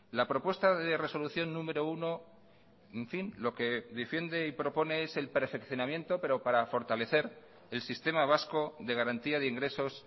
la propuesta de resolución número uno en fin lo que defiende y propone es el perfeccionamiento pero para fortalecer el sistema vasco de garantía de ingresos